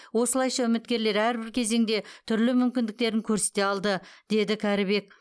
осылайша үміткерлер әрбір кезеңде түрлі мүмкіндіктерін көрсете алды деді кәрібек